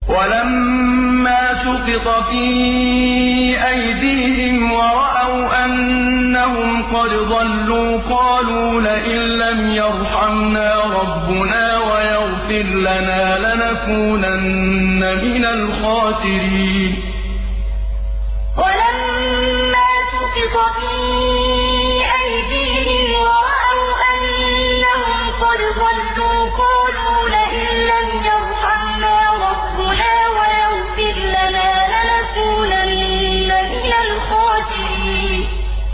وَلَمَّا سُقِطَ فِي أَيْدِيهِمْ وَرَأَوْا أَنَّهُمْ قَدْ ضَلُّوا قَالُوا لَئِن لَّمْ يَرْحَمْنَا رَبُّنَا وَيَغْفِرْ لَنَا لَنَكُونَنَّ مِنَ الْخَاسِرِينَ وَلَمَّا سُقِطَ فِي أَيْدِيهِمْ وَرَأَوْا أَنَّهُمْ قَدْ ضَلُّوا قَالُوا لَئِن لَّمْ يَرْحَمْنَا رَبُّنَا وَيَغْفِرْ لَنَا لَنَكُونَنَّ مِنَ الْخَاسِرِينَ